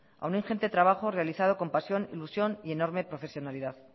a un ingente trabajo realizado con pasión ilusión y enorme profesionalidad